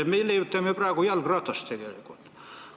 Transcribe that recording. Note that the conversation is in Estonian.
Me leiutame praegu tegelikult jalgratast.